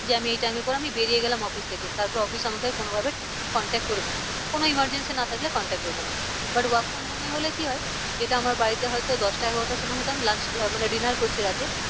যে আমি এই time এর পরে আমি বেরিয়ে গেলাম office থেকে তারপর office আমাকে আর কোনো ভাবে contact করবে না। কোনো emergency না থাকলে contact করবে না। but work from home এ হলে কি হয়। যেটা আমার বাড়িতে হয় তো দশটা এগারোটার সময় হয় তো আমি lunch আহ মানে dinner করছি রাতে।